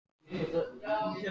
Hauksteinn, hækkaðu í græjunum.